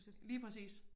Lige præcis